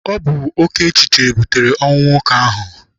Ọ bụ oké echiche butere ọnwụ nwoke ahụ.